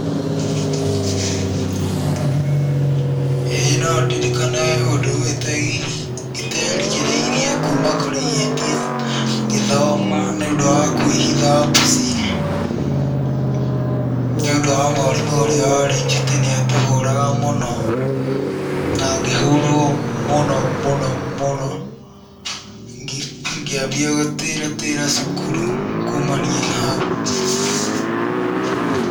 Ĩĩ no ndirikane ũndũ ũterĩgĩrĩire kuma kũrĩ ihĩtia ngĩthoma nĩ ũndũ wa kwĩhitha mbuci nĩũndũ mwarimũ ũrĩa warĩ njutĩ nĩ atũhũraga mũno na ngĩhũrwo mũno mũno mũno, ngĩambia gũtĩratĩra cukuru kumania na hau.